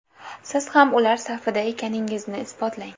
Siz ham ular safida ekaningizni isbotlang!